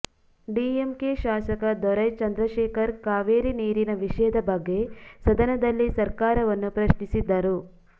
DMK ಶಾಸಕ ದೊರೈ ಚಂದ್ರಶೇಖರ್ ಕಾವೇರಿ ನೀರಿನ ವಿಷಯದ ಬಗ್ಗೆ ಸದನದಲ್ಲಿ ಸರ್ಕಾರವನ್ನು ಪ್ರಶ್ನಿಸಿದ್ದರು